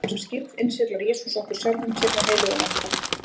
Þegar við erum skírð, innsiglar Jesús okkur sjálfum sér með heilögum anda.